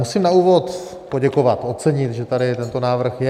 Musím na úvod poděkovat, ocenit, že tady tento návrh je.